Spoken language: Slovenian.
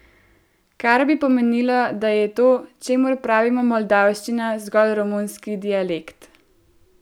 Kar bi pomenilo, da je to, čemur pravimo moldavščina, zgolj romunski dialekt.